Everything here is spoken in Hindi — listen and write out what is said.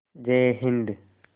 जय हिन्द